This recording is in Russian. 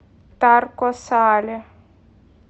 тарко сале